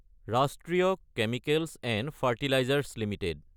ৰাষ্ট্ৰীয় chemicals & fertilisers Ltd